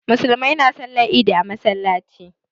Musulmai na sallar idi a masallaci